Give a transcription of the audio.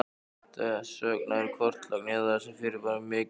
Þess vegna er kortlagning á þessum fyrirbærum mikilvæg.